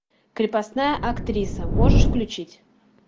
крепостная актриса можешь включить